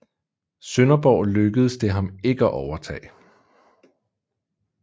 Sønderborg lykkedes det ham ikke at overtage